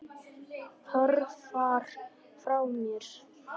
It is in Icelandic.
Hörfar frá henni.